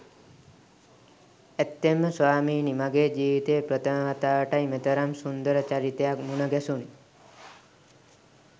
ඇත්තෙන්ම ස්වාමීනි මගේ ජීවිතයේ ප්‍රථම වතාවටයි මෙතරම් සුන්දර චරිතයක් මුණ ගැසුනේ.